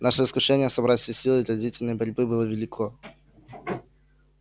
наше искушение собрать все силы для длительной борьбы было велико